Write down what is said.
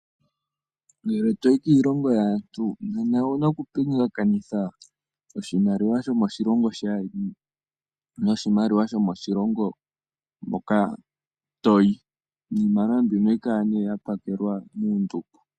Ngele to yi kiilongo yaantu nena owu na okupingakanitha oshimaliwa sho moshilongo shaandjeni noshimaliwa sho moshilongo moka to yi. Iimaliwa mbika ohayi kala ya pakelwa muundumba.